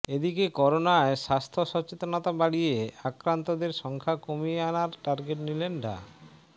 এদিকে করোনায় স্বাস্থ্য সচেতনতা বাড়িয়ে আক্রান্তদের সংখ্যা কমিয়ে আনার টার্গেট নিলেন ডা